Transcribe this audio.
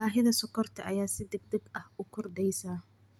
Baahida sonkorta ayaa si degdeg ah u kordheysa.